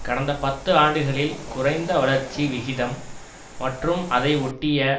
கடந்த பத்து ஆண்டுகளில் குறைந்த வளர்ச்சி விகிதம் மற்றும் அதையொட்டிய